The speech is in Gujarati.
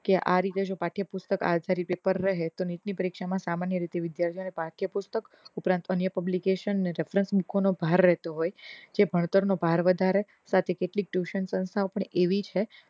કે આ રીતે પાઠ્યપુસ્તક આ રીતે પપેર રહે નીટ ની પરીક્ષા માં સામાન્ય રીતે વિદ્યાર્થીઓને પાઠ્યપુસ્તક ઉપરાંત અન્ય publication જે ભણતર નો ભાર રહેતો હોય જે ભણતર નો ભાર વધારે સાથે કેટલીક tuition સંસ્થા પણ એવી છે